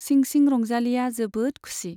सिंसिं रंजालीया जोबोद खुसि।